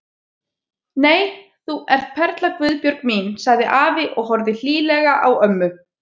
Nei, þú ert perla Guðbjörg mín sagði afi og horfði hlýlega á ömmu.